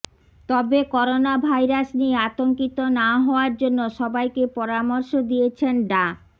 তবে করোনাভাইরাস নিয়ে আতঙ্কিত না হওয়ার জন্য সবাইকে পরামর্শ দিয়েছেন ডা